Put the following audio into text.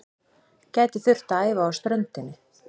Gætu þurft að æfa á ströndinni